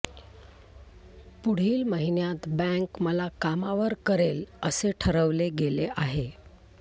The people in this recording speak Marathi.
पुढील महिन्यात बँक मला कामावर करेल असे ठरवले गेले आहे